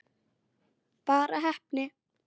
Bara heppni?